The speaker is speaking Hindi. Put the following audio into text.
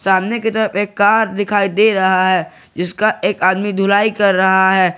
सामने की तरफ एक कार दिखाई दे रहा है जिसका एक आदमी धुलाई कर रहा है।